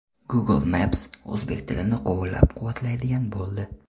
Google Maps o‘zbek tilini qo‘llab-quvvatlaydigan bo‘ldi.